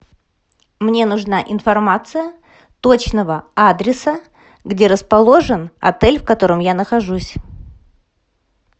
мне нужна информация точного адреса где расположен отель в котором я нахожусь